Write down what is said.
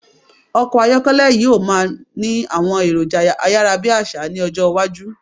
Ọkọ̀ ayọ́kẹ́lẹ̀ yí o máà ni àwọn èròjà ayárábiàsà ni ọjọ́ iwájú